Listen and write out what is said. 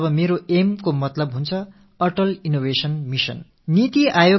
இப்படி நான் ஏயிஎம் என்று கூறும் போது அட்டால் இன்னோவேஷன் மிஷன் என்பதே அதன் பொருள்